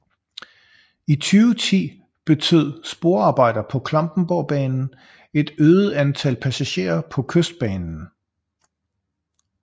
I 2010 betød sporarbejder på Klampenborgbanen et øget antal passagerer på Kystbanen